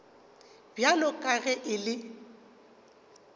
bjalo ka ge e le